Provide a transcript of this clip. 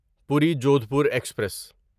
پوری جودھپور ایکسپریس